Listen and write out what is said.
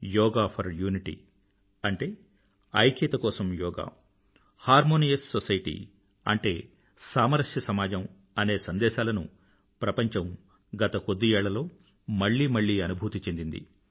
yoga for unity అంటే ఐక్యత కోసం యోగా హార్మోనియస్ సొసైటీ అంటే సామరస్య సమాజం అనే సందేశాలను ప్రపంచం గత కొద్ది ఏళ్లలో మళ్ళీ మళ్ళీ అనుభూతి చెందింది